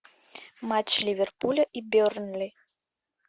матч ливерпуля и бернли